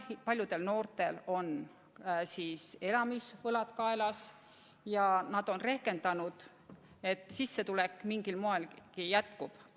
Paljudel noortel on elamispaiga võlad kaelas ja nad on rehkendanud, et nende sissetulek mingilgi moel jätkub.